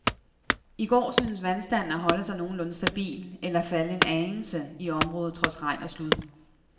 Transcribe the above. I går syntes vandstanden at holde sig nogenlunde stabil eller falde en anelse i området trods regn og slud.